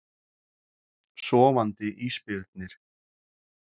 Sofandi ísbirnir.